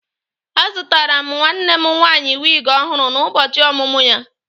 Azụtara m nwanne m nwanyị wig ọhụrụ n'ụbọchị ọmụmụ ya